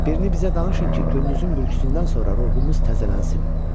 Birini bizə danışın ki, gündüzün bürküsündən sonra ruhumuz təzələnsin.